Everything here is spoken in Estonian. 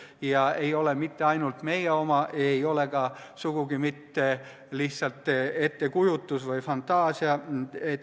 See ei ole mitte ainult meie probleem, ei ole sugugi ka lihtsalt ettekujutus või fantaasia.